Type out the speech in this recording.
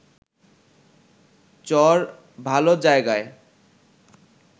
চর ভালো জায়গা